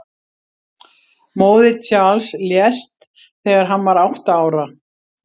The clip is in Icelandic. Móðir Charles lést þegar hann var átta ára.